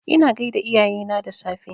Ina gaida iyayena da safe